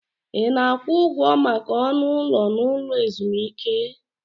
Ị na-akwụ ụgwọ maka ọnụ ụlọ n'ụlọ ezumike?